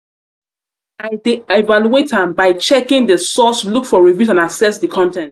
i dey evaluate am by checking di source look for reviews and assess di con ten t.